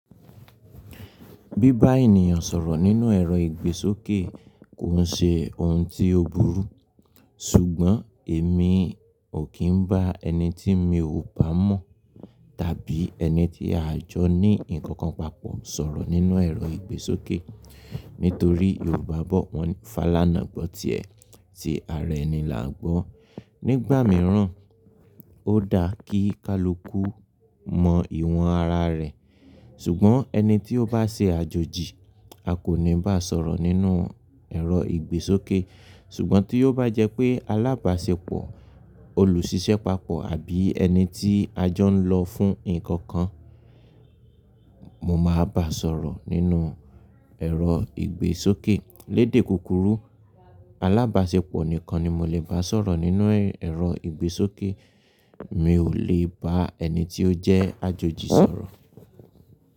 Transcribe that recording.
Bí bá ènìyàn sọ̀rọ̀ nínú ẹ̀rọ ìgbésókè kò ṣe òun tí ó burú, ṣùgbọ́n èmi ò kí ń bá ẹni tí mi ò bá mọ̀ tàbí ẹni tí a jọ ní nǹkan kan papọ̀ sọ̀rọ̀ nínú ẹ̀rọ ìgbésókè. Nítorí Yorùbá bọ̀ wọ́n fàlànà gbọ́ tiẹ̀ tí ara ẹni làá gbọ́n. Nígbà mìíràn ó dá kí kaluku mọ ìwọ̀n ara rẹ̀. Ṣùgbọ́n ẹni tí ó bá ṣe àjòji a kò ní bá sọ̀rọ̀ nínú ẹ̀rọ ìgbésókè. Ṣùgbọ́n tí ó bá jẹ́ pé alábàṣepọ̀, olùṣiṣẹ́ papọ̀ àbí ẹni tí a jọ ń lọ fún nǹkan kan, mo máa bá sọ̀rọ̀ nínú ẹ̀rọ ìgbésókè. Lédè kúkúrú alábàṣepọ̀ nìkan ni mo lè bá sọ̀rọ̀ nínú ẹ̀rọ ìgbésókè. Mi ò lè bá ẹni tí ó jẹ́ àjòji sọ̀rọ̀